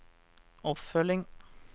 oppfølging